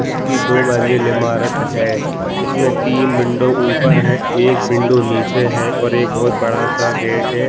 उसकी दो मंजिली इमारत है इसमें तीन विंडो ऊपर है एक विंडो नीचे है और एक बहुत बड़ा-सा गेट है।